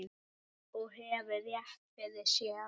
Og hefur rétt fyrir sér.